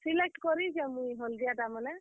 Select କରିଛେଁ, ମୁଇଁ ହଲଦିଆ ଟା ମାନେ।